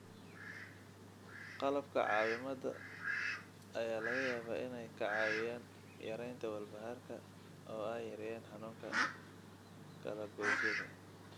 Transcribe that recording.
Qalabka caawimada ayaa laga yaabaa inay kaa caawiyaan yaraynta walbahaarka oo ay yareeyaan xanuunka kala goysyada.